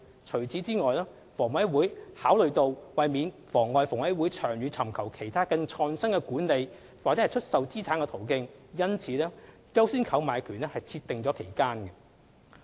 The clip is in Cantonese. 除此以外，房委會考慮到為免妨礙房委會長遠尋求其他更創新的管理/出售資產途徑，因此為"優先購買權"設定期間。